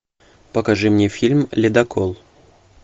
покажи мне фильм ледокол